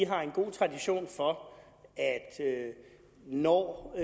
har en god tradition for at når